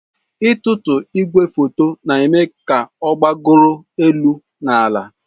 Ịtụtu igwefoto na-eme ka ọ gbagoro elu na ala.